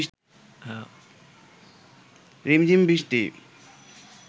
রিমঝিম বৃষ্টি